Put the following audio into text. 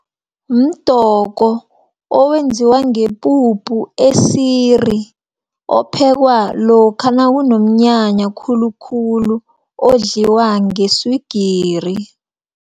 Mdoko owenziwa ngepuphu esiri, ophekwa lokha nakunomnyanya khulukhulu, odliwa ngeswigiri.